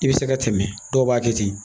I bɛ se ka tɛmɛ dɔw b'a kɛ ten